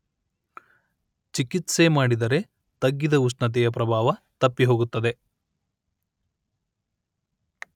ಚಿಕಿತ್ಸೆ ಮಾಡಿದರೆ ತಗ್ಗಿದ ಉಷ್ಣತೆಯ ಪ್ರಭಾವ ತಪ್ಪಿ ಹೋಗುತ್ತದೆ